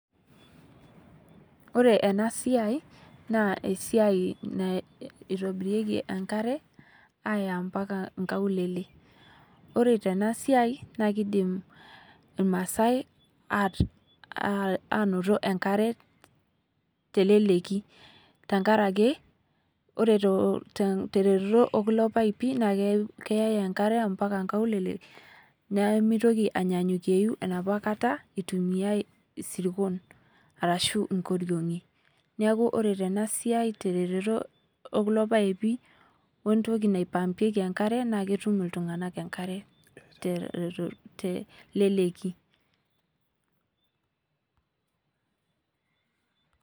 kore anaa siai naa esiai naitobiriekii enkaree ayaa mpakaa ee nkaulele, oree teenaa siai naa keidim lmaasai ainotoo enkaree teleleki tankarakee oree te retetoo ookulo paipii naa keyai enkaree mpakaa nkaulele nemeitokii anyonyikeyuu enapaa kataa eitumiyai sirikon arashuu nkoriengii. Naaku ore tanaa siai te retetoo ee kuloo paipii oo ntokii naipampiekii enkaree naa kotum eltunganak ee nkare te lelekii